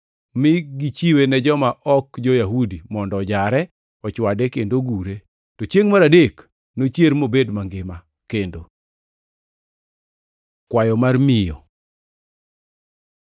mi gichiwe ne joma ok jo-Yahudi mondo ojare, ochwade kendo ogure. To chiengʼ mar adek nochier mobed mangima kendo!” Kwayo mar miyo